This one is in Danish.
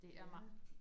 Spændende